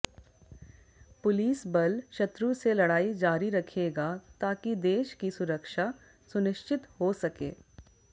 police बल शत्रु से लड़ाई जारी रखेगा ताकि देश की सुरक्षा सुनिश्चित हो सके